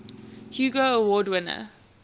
hugo award winner